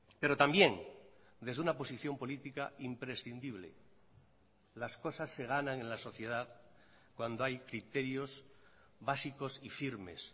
pero también desde una posición política imprescindible las cosas se ganan en la sociedad cuando hay criterios básicos y firmes